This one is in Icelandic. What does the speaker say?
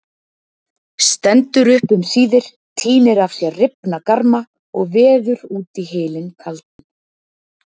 Stendur upp um síðir, tínir af sér rifna garma og veður út í hylinn kaldan.